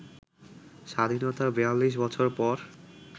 “স্বাধীনতার ৪২ বছর পর